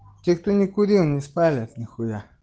те кто не курил не спалят нихуя